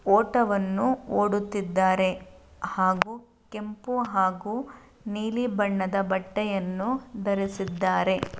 ಓಟವನ್ನು ಓದುತ್ತಿದ್ದಾರೆ ಹಾಗು ಕೆಂಪು ಹಾಗು ನೀಲಿ ಬಣ್ಣದ ಬಟ್ಟಯನ್ನು ಧರಿಸಿದ್ದಾರೆ.